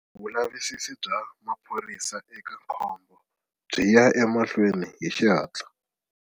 Vulavisisi bya maphorisa eka khombo byi ya emahlweni hi xihatla.